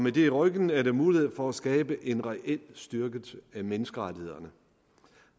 i ryggen er der mulighed for at skabe en reel styrkelse af menneskerettighederne